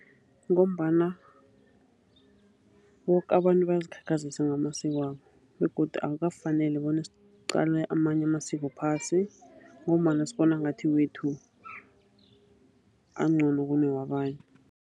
Ngombana boke abantu bayazikhakhazisa ngamasiko wabo begodu akukafaneli bona siqle amanye amasiko phasi ngombana sibona ngathi wethu angcono kunewabanye.